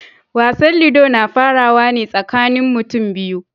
Wasan ludo na farawa ne tsakanin mutum biyu.